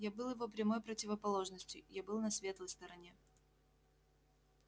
я был его прямой противоположностью я был на светлой стороне